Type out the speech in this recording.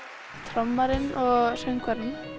trommarinn og söngvarinn